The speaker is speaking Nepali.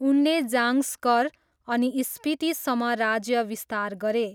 उनले जाङ्स्कर अनि स्पितीसम्म राज्य विस्तार गरे।